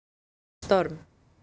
Storm